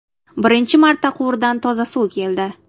Birinchi marta quvurdan toza suv keldi.